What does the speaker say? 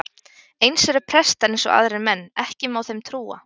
Eins eru prestar eins og aðrir menn, ekki má þeim trúa.